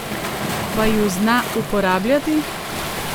Pa ju zna uporabljati?